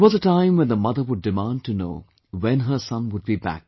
There was a time when the mother would demand to know when her son would be back